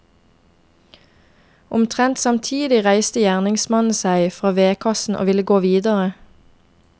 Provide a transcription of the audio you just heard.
Omtrent samtidig reiste gjerningsmannen seg fra vedkassen og ville gå videre.